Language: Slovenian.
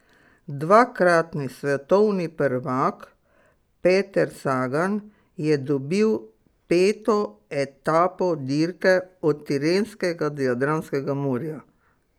Dvakratni svetovni prvak Peter Sagan je dobil peto etape dirke od Tirenskega do Jadranskega morja.